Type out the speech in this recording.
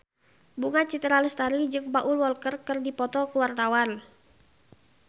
Bunga Citra Lestari jeung Paul Walker keur dipoto ku wartawan